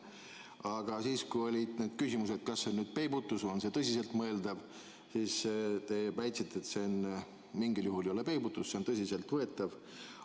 Aga siis, kui olid need küsimused, kas see on peibutus või on see tõsiselt mõeldav, siis te väitsite, et mitte mingil juhul ei ole see peibutus, see on tõsiselt võetav.